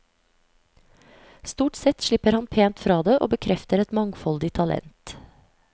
Stort sett slipper han pent fra det og bekrefter et mangfoldig talent.